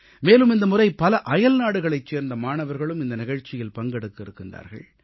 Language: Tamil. மேலும் இந்த முறை பல அயல்நாடுகளைச் சேர்ந்த மாணவர்களும் இந்த நிகழ்ச்சியில் பங்கெடுக்க இருக்கின்றார்கள்